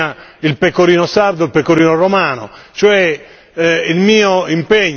di avere per esempio io vengo dalla Sardegna il pecorino sardo e il pecorino romano.